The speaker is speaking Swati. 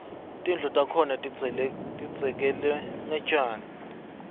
tindlu takhona tidzekelwe ngetjani